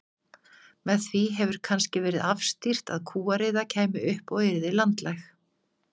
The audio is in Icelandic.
Með því hefur kannski verið afstýrt að kúariða kæmi upp og yrði landlæg.